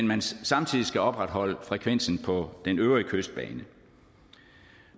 man samtidig skal opretholde frekvensen på den øvrige kystbane